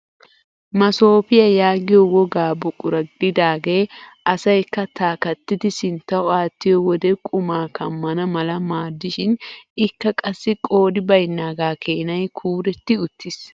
Masoopiyaa yaagiyoo wogaa buqura gididagee asay kattaa kattidi sinttawu aattiyoo wode qumaa kammana mala maaddishin ikka qassi qoodi baynnaaga keenay kuuretti uttiis.